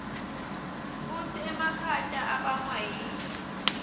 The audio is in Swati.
kutsi emakhata abangwa yini